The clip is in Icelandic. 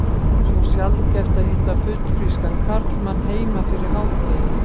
Svo sjaldgæft að hitta fullfrískan karlmann heima fyrir hádegi.